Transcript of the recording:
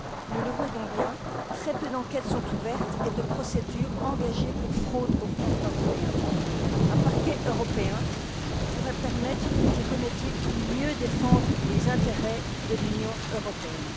Nous le voyons bien, très peu d'enquêtes sont ouvertes et de procédures engagées pour fraudes au détriment des fonds européens. Un parquet européen pourrait permettre de remédier à cela pour mieux défendre les intérêts de l'Union européenne.